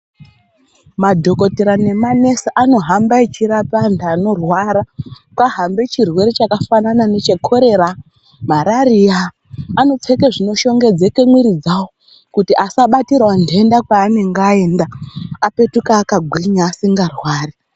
Madhokotera nemanesi anohamba echirapa antu anorwara kwahambe chirwere chakafanana nechekorera marariya, anopfeke zvinoshongedzeke mwiri dzawo kuti asabatirawo ndenda kweanenge aenda apetuke akagwinya asingarwari.